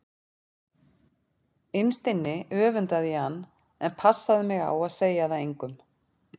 Innst inni öfundaði ég hann en ég passaði mig á að segja það engum.